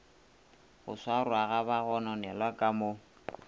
go swarwaga bagononelwa ka mo